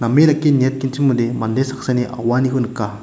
name dake niatgenchimode mande saksani auaniko nika.